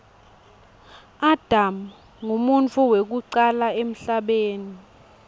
adam nqumuntfu wekucala emhlabeni